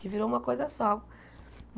Que virou uma coisa só.